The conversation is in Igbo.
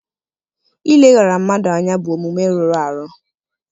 Ileghara mmadụ anya bụ omume rụrụ arụ.